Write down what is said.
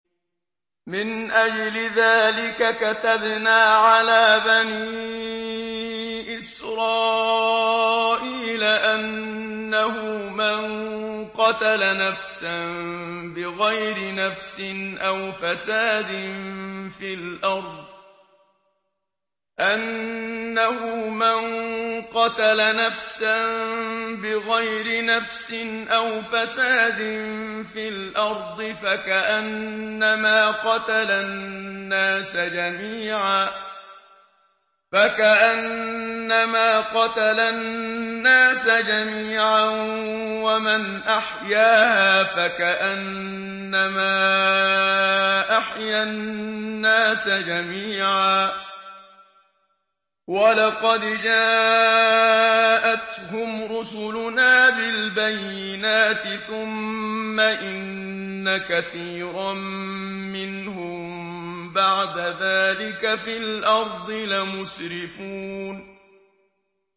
مِنْ أَجْلِ ذَٰلِكَ كَتَبْنَا عَلَىٰ بَنِي إِسْرَائِيلَ أَنَّهُ مَن قَتَلَ نَفْسًا بِغَيْرِ نَفْسٍ أَوْ فَسَادٍ فِي الْأَرْضِ فَكَأَنَّمَا قَتَلَ النَّاسَ جَمِيعًا وَمَنْ أَحْيَاهَا فَكَأَنَّمَا أَحْيَا النَّاسَ جَمِيعًا ۚ وَلَقَدْ جَاءَتْهُمْ رُسُلُنَا بِالْبَيِّنَاتِ ثُمَّ إِنَّ كَثِيرًا مِّنْهُم بَعْدَ ذَٰلِكَ فِي الْأَرْضِ لَمُسْرِفُونَ